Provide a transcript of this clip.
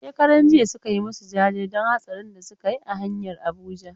Shekaran jiya suka yi masu jaje don hatsarin da suka yi a hanyar Abuja.